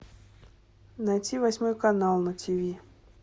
найти восьмой канал на тв